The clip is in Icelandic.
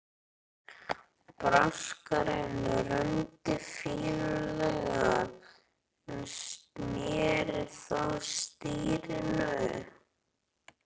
Braskarinn rumdi fýlulega en sneri þó stýrinu.